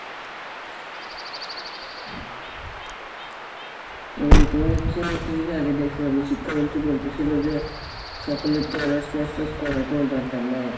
ওইযে তুমার দেখসিলাম যে শিক্ষামন্ত্রী বলতেসিলো যে সকলের তো honors masters করার কোনো দরকার নাই,